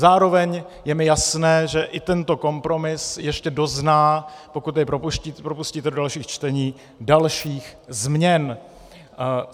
Zároveň je mi jasné, že i tento kompromis ještě dozná, pokud jej propustíte do dalších čtení, dalších změn.